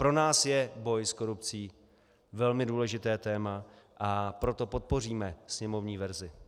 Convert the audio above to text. Pro nás je boj s korupcí velmi důležité téma, a proto podpoříme sněmovní verzi.